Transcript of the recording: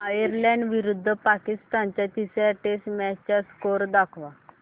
Ireland विरुद्ध पाकिस्तान च्या तिसर्या टेस्ट मॅच चा स्कोअर दाखवा